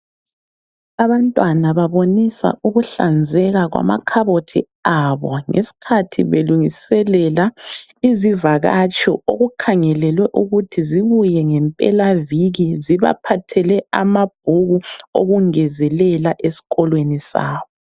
Abantwana babonisa ukuhlanzeka kwamakhabothi abo, ngeskhathi belungiselela izivakatshi okukhangelelwe ukuthi zibuye ngempelaviki zibaphathele amabhuku okungezelela esikolweni sabo.